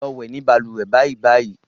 Lọ wẹ̀ ní balùwẹ̀ bàìbàì.